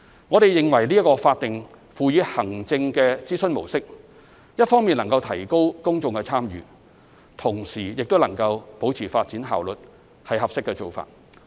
我們認為這種法定輔以行政的諮詢模式，一方面能夠提高公眾參與，同時亦能保持發展效率，是合適的做法。